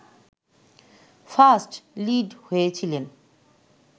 first lead হয়েছিলেন